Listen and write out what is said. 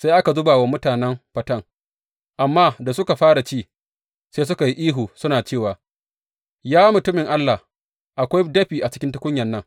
Sai aka zuba wa mutanen faten, amma da suka fara ci, sai suka yi ihu suna cewa, Ya mutumin Allah, akwai dafi a cikin tukunyan nan!